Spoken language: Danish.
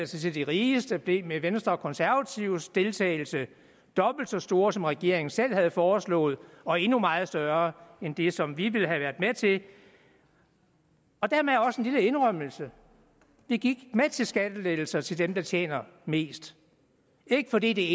til de rigeste blev med venstre og konservatives deltagelse dobbelt så store som regeringen selv havde foreslået og endnu meget større end det som vi ville have været med til og dermed også en lille indrømmelse vi gik med til skattelettelser til dem der tjener mest ikke fordi det